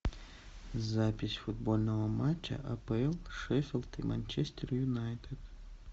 запись футбольного матча апл шеффилд и манчестер юнайтед